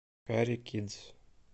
кари кидс